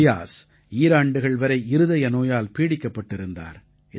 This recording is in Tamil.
ஃபியாஸ் ஈராண்டுகள் வரை இருதய நோயால் பீடிக்கப்பட்டிருந்தார்